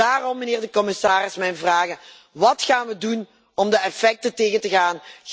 Daarom, meneer de commissaris, mijn vragen wat gaan we doen om de effecten tegen te gaan?